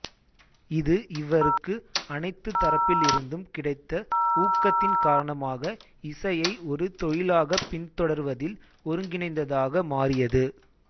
இது இவருக்கு அனைத்து தரப்பிலிருந்தும் கிடைத்த ஊக்கத்தின் காரணமாக இசையை ஒரு தொழிலாகப் பின்தொடர்வதில் ஒருங்கிணைந்ததாக மாறியது